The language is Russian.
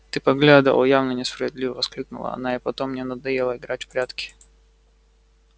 ты поглядывал явно несправедливо воскликнула она и потом мне надоело играть в прятки